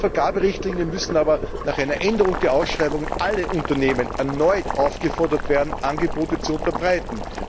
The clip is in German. Laut Vergaberichtlinien müssen aber nach einer Änderung der Ausschreibung alle Unternehmen erneut aufgefordert werden, Angebote zu unterbreiten.